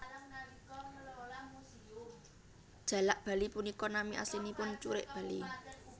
Jalak bali punika nami aslinipun curik bali